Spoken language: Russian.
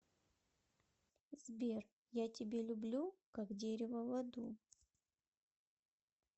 сбер я тебе люблю как дерево воду